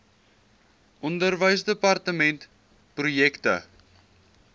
onderwysdepartementprojekte